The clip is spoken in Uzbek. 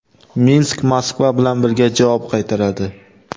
Minsk Moskva bilan birga javob qaytaradi.